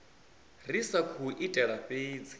ri sa khou itela fhedzi